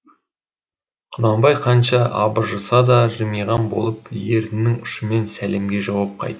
құнанбай қанша абыржыса да жымиған болып ернінің ұшымен сәлемге жауап қайтарды